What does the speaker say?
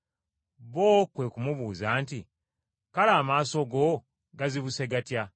Bo kwe ku mubuuza nti, “Kale amaaso go gaazibuse gatya?”